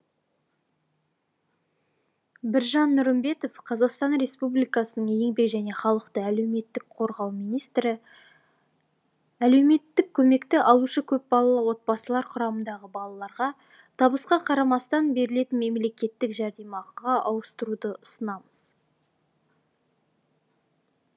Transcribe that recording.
біржан нұрымбетов қазақстан республикасының еңбек және халықты әлеуметтік қорғау министрі әлеуметтік көмекті алушы көпбалалы отбасылар құрамындағы балаларға табысқа қарамастан берілетін мемлекеттік жәрдемақыға ауыстыруды ұсынамыз